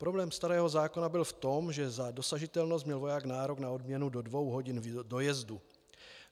Problém starého zákona byl v tom, že za dosažitelnost měl voják nárok na odměnu do dvou hodin dojezdu.